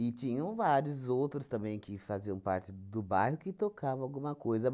E tinham vários outros também que faziam parte do bairro, que tocavam alguma coisa.